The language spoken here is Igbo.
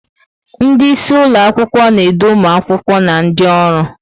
Ndị isi ụlọ akwụkwọ na-edu ụmụ akwụkwọ na ndị ọrụ.